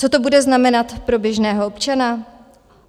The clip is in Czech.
Co to bude znamenat pro běžného občana?